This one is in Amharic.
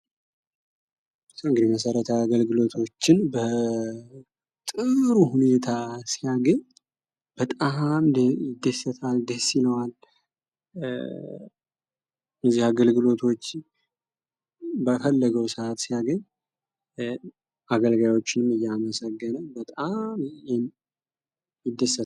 እንግዲ መሰረታዊ አገልግሎቶችን በጥሩ ሁኔታ ሲያገኝ በጣም ይደሰታል ፣ደስ ይለዋል። እነዚህን አገልግሎቶች በፈለገው ሰዓት ሲያገኝ አገልጋዮቹን እያመሰገነ በጣም ይደሰታል።